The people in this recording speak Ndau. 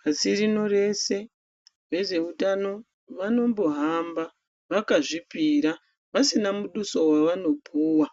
Pasi rino rese vezveutano vanombohamba vakazvipira vasina muduso wavanopuwa